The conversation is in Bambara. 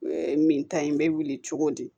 min ta ye n bɛ wuli cogo di